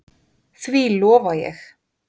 Því lofa ég!